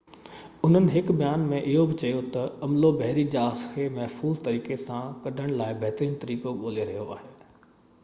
انهن هڪ بيان ۾ اهو بہ چيو تہ عملو بحري جهاز کي محفوظ طريقي سان ڪڍڻ لاءِ بهترين طريقو ڳولي رهيو آهي